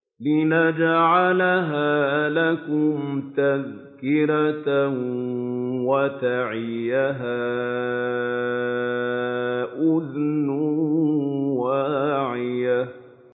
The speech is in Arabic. لِنَجْعَلَهَا لَكُمْ تَذْكِرَةً وَتَعِيَهَا أُذُنٌ وَاعِيَةٌ